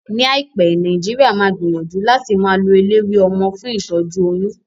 Ní àìpé, Nàìjíríà máa gbìyànjú láti máa lo eléwé ọmọ fún ìtọ́jú oyún